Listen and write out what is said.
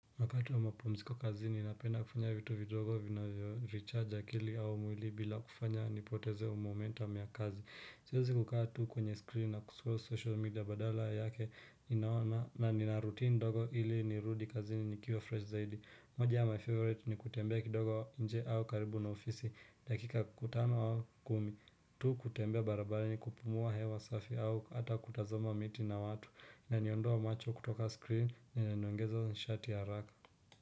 Wakati wa mapumziko kazi ninapenda kufanya vitu vidogo vinavyo recharge akili au mwili bila kufanya nipoteze u momentum ya kazi. Siwezi kukaa tu kwenye screen na scroll social media badala yake ninaona na nina routine ndogo ili nirudi kazini nikiwa fresh zaidi. Moja ya my favorite ni kutembea kidogo nje au karibu na ofisi dakika tano au kumi. Tu kutembea barabarani kupumua hewa safi au hata kutazama miti na watu. Inaniondoa macho kutoka screen na inaniongeza nishati ya haraka.